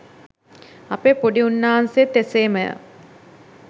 අපේ පොඩි උන්නාසේත් එසේමය